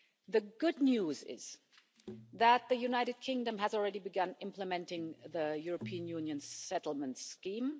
The good news is that the United Kingdom has already begun implementing the European Union Settlement Scheme.